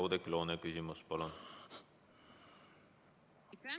Oudekki Loone, küsimus, palun!